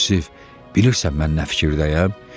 Yusif, bilirsən mən nə fikirdəyəm?